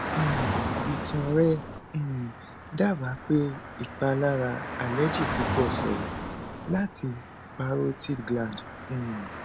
um itan rẹ um daba pe ipalara allergy pupo sele lati parotid gland um